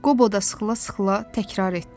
Qobo da sıxıla-sıxıla təkrar etdi.